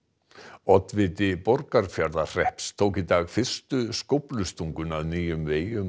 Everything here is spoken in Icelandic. oddviti Borgarfjarðarhrepps tók í dag fyrstu skóflustunguna að nýjum vegi um